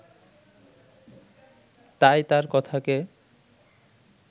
তাই তার কথাকে